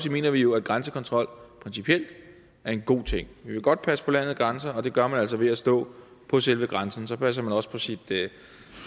mener vi jo at grænsekontrol principielt er en god ting vi vil godt passe på landets grænser og det gør man altså ved at stå på selve grænsen så passer man også på sit